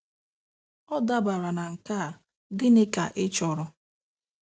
Ọ dabara na nke a: Gịnị ka ị chọrọ?